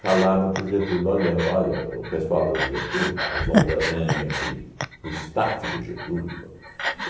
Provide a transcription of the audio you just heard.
Falaram para o Getúlio, olha olha o pessoal do Getúlio, Oswaldo Aranha, aquele o staff do Getúlio falou